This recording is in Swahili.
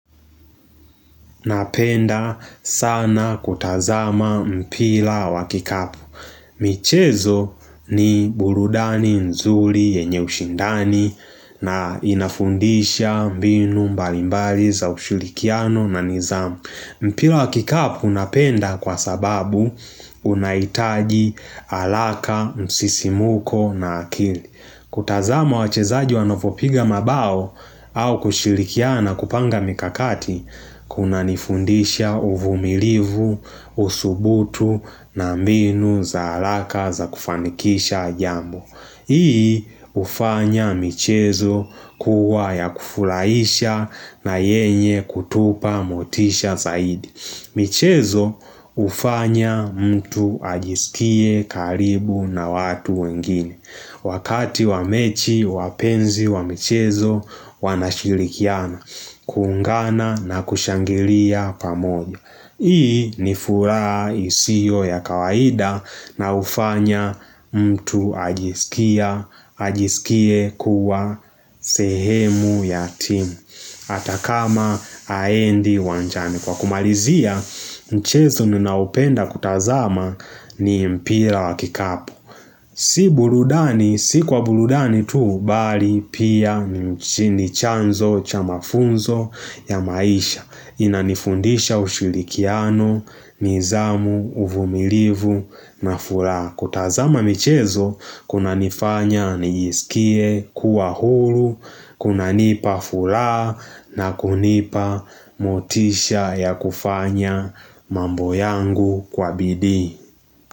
Napenda sana kutazama mpira wa kikapu. Michezo ni burudani nzuri yenye ushindani na inafundisha mbinu mbali mbali za ushurikiano na nidhamu. Mpira wa kikapu napenda kwa sababu unahitaji haraka, msisimuko na akili. Kutazama wachezaji wanavyopiga mabao au kushirikiana na kupanga mikakati, kunanifundisha uvumilivu, usubutu na mbinu za haraka za kufanikisha jambo. Hii hufanya michezo kuwa ya kufurahisha na yenye kutupa motisha zaidi. Michezo hufanya mtu ajisikie karibu na watu wengine. Wakati wa mechi, wapenzi wa michezo wanashirikiana, kuungana na kushangilia pamoja. Hii ni furaha isio ya kawaida na hufanya mtu ajisikia, ajisikie kuwa sehemu ya timu, hata kama haendi uwanjani. Kwa kumalizia, mchezo ninaopenda kutazama ni mpira wa kikapu. Si burudani, si kwa burudani tuu, bali pia ni chanzo cha mafunzo ya maisha. Inanifundisha ushurikiano, nidhamu, uvumilivu na furaha. Kutazama michezo, kunanifanya nijiskie, kuwa huru, kunanipa furaha na kunipa motisha ya kufanya mambo yangu kwa bidii.